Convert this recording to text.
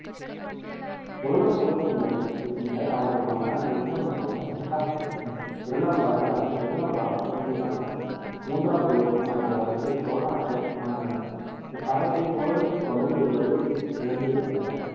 முதலாம் குலோத்துங்கனுக்கு பின்னர் அவனது மகனாக விக்ரம சோழன் இரண்டாம் குலோத்துங்கன் இரண்டாம் ராசராசன் இரண்டாம் ராசாதி ராசன் மூன்றாம் குலோத்துங்கன் ஆகிய வரிசையில் சோழநாட்டை ஆண்டனர் இக்காலத்தை சோழர் தொடர்ந்து வலிமை இழந்து வந்தனர்